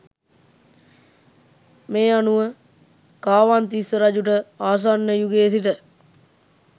මේ අනුව කාවන්තිස්ස රජුට ආසන්න යුගයේ සිට